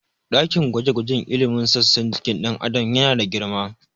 Ɗakin gwaje-gwajen ilimin sassan jikin ɗan Adam yana da girma.